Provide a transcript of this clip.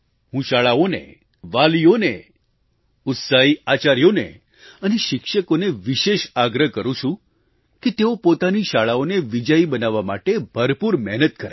હું શાળાઓને વાલીઓને ઉત્સાહી આચાર્યોને અને શિક્ષકોને વિશેષ આગ્રહ કરું છું કે તેઓ પોતાની શાળાઓને વિજયી બનાવવા માટે ભરપૂર મહેનત કરે